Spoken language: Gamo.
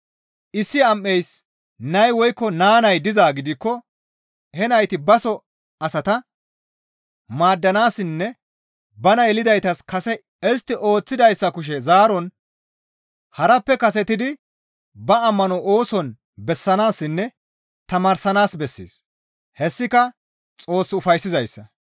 Issi am7eys nay woykko naa nay dizaa gidikko he nayti baso asata maaddanaassinne bana yelidaytas kase istti ooththidayssa kushe zaaron harappe kasetidi ba ammano ooson bessanaassinne tamaaranaas bessees; hessika Xoos ufayssizayssa.